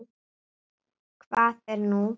Hvað er nú?